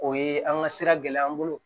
O ye an ka sira gɛlɛya an bolo